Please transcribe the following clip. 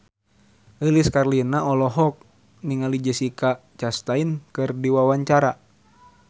Lilis Karlina olohok ningali Jessica Chastain keur diwawancara